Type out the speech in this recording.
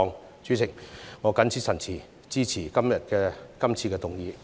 代理主席，我謹此陳辭，支持今天這項議案。